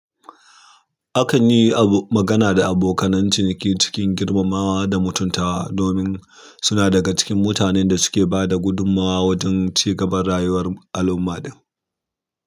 Akan yi abu magana da abokan nan ciniki cikin girmamawa da mutuntawa domin suna daga cikin mutanen da suke ba da gudummawa wajen ci gaban rayuwar al'umma ɗin.